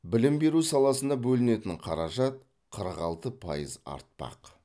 білім беру саласына бөлінетін қаражат қырық алты пайыз артпақ